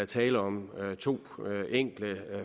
tale om to enkle